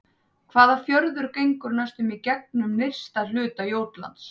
Hvaða fjörður gengur næstum í gegnum nyrsta hluta Jótlands?